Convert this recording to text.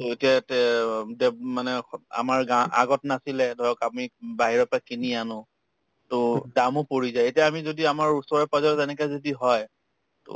to এতিয়া তেওঁ‍ তেওঁক মানে স আমাৰ গাওঁ আগত নাছিলে ধৰক আমি বাহিৰৰ পৰা কিনি আনো to দামো পৰি যায় এতিয়া আমি যদি আমাৰ ওচৰে-পাজৰত এনেকে যদি হয় to